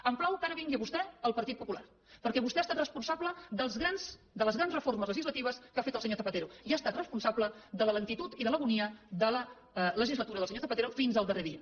em plau que ara vingui vostè al partit popular perquè vostè ha estat responsable de les grans reformes legislatives que ha fet el senyor zapatero i ha estat responsable de la lentitud i de l’agonia de la legislatura del senyor zapatero fins al darrer dia